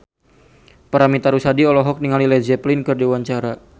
Paramitha Rusady olohok ningali Led Zeppelin keur diwawancara